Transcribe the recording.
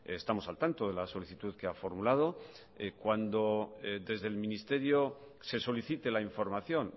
estamos al tanto de la solicitud que ha formulado cuando desde el ministerio se solicite la información